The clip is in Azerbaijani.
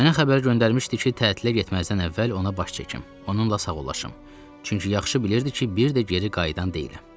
Mənə xəbər göndərmişdi ki, tətilə getməzdən əvvəl ona baş çəkim, onunla sağollaşım, çünki yaxşı bilirdi ki, bir də geri qayıdan deyiləm.